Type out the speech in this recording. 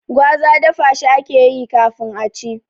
Gwaza dafa shi akeyi kafin a ci